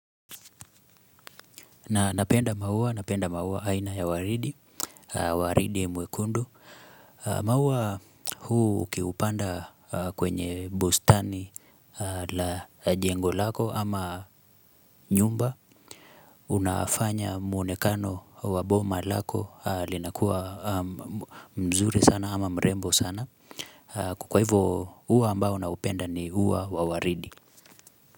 Na napenda maua, napenda maua aina ya waridi, waridi mwekundu. Maua huu ukiupanda kwenye bustani la jengo lako ama nyumba Unafanya muonekano wa boma lako linakuwa mzuri sana ama mrembo sana. Kwa hivyo ua ambao naupenda ni ua wa waridi.